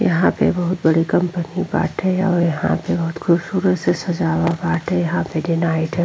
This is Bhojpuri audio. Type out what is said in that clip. यहाँ पे बहोत बड़ी कंपनी बाटे और यहाँ पे बहोत खूबसूरत से सजावा बाटे। यहाँ पे डे नाईट --